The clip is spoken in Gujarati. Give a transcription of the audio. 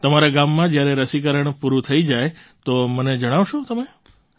તમારા ગામમાં જ્યારે રસીકરણ પૂરું થઈ જાય તો મને જણાવશો તમે